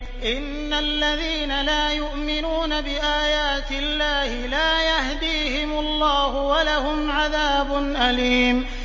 إِنَّ الَّذِينَ لَا يُؤْمِنُونَ بِآيَاتِ اللَّهِ لَا يَهْدِيهِمُ اللَّهُ وَلَهُمْ عَذَابٌ أَلِيمٌ